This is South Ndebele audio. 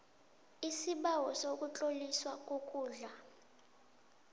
isibawo sokutloliswa kokudla